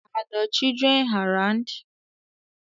Are the children around